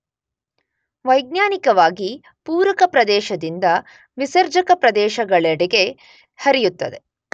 ವೈಜ್ಞಾನಿಕವಾಗಿ ಪೂರಕ ಪ್ರದೇಶದಿಂದ ವಿಸರ್ಜಕ ಪ್ರದೇಶಗಳೆಡೆಗೆ ಹರಿಯುತ್ತದೆ.